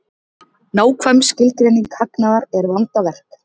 Nákvæm skilgreining hagnaðar er vandaverk.